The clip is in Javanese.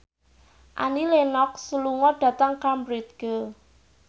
Annie Lenox lunga dhateng Cambridge